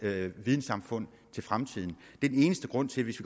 vidensamfund til fremtiden det er den eneste grund til det